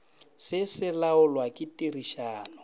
se se laolwa ke tirišano